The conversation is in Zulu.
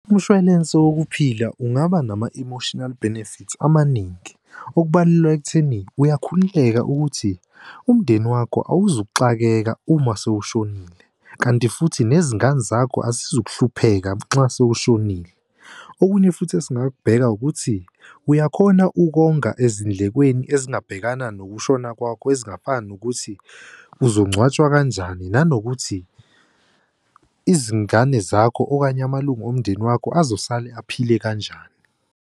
Umshwalense wokuphila ungaba nama-emotinal benefits amaningi, okubalwa ekutheni uyakhululeka ukuthi umndeni wakho awuzukuxakeka uma sowushonile kanti futhi nezingane zakho azizukuhlupheka nxa sewushonile. Okunye futhi esingakubeka ukuthi uyakhona ukonga ezindlekweni ezingabhekana nokushona kwakho ezingafana nokuthi uzongcwatshwa kanjani, nanokuthi izingane zakho okanye amalungu omndeni wakho azosale aphile kanjani.